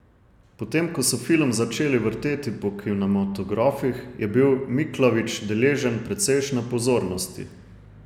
Potem ko so film začeli vrteti po kinematografih, je bil Miklavič deležen precejšnje pozornosti.